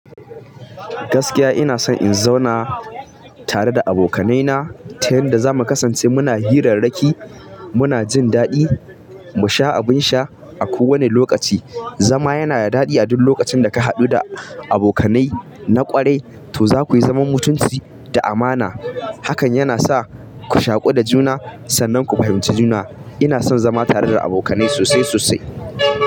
Gaskiya ina son in zauna tare da abokanaina, ta yanda za mu kasance muna hirarrakin, muna jin daɗi, mu sha abin sha, a kowane lokaci. Zama yana da daɗi a duk lokacin da ka haɗu da abokanai na ƙwarai, to za ku iya zama mutunci da amana. Hakan yana sa ku shaƙu da juna, sannan ku fahimci juna. Ina son zama tare da abokanai na sosai sosai.